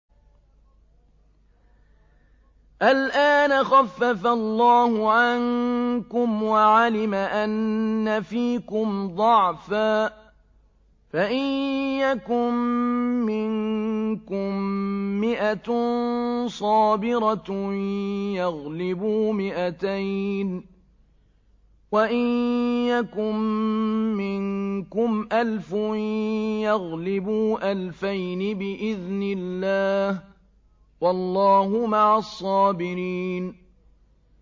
الْآنَ خَفَّفَ اللَّهُ عَنكُمْ وَعَلِمَ أَنَّ فِيكُمْ ضَعْفًا ۚ فَإِن يَكُن مِّنكُم مِّائَةٌ صَابِرَةٌ يَغْلِبُوا مِائَتَيْنِ ۚ وَإِن يَكُن مِّنكُمْ أَلْفٌ يَغْلِبُوا أَلْفَيْنِ بِإِذْنِ اللَّهِ ۗ وَاللَّهُ مَعَ الصَّابِرِينَ